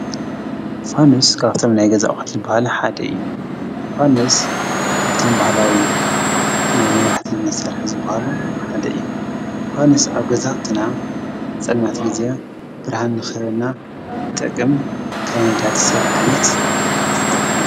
ፋኑስ ካብቶም ባህላዊ ኣቑሑ ገዛ ኾይኑ ብነዳዲ ዝሰርሕ ኮይኑ ብርሃን ይህብ።